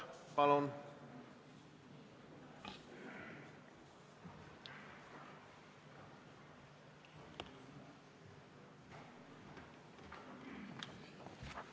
Palun!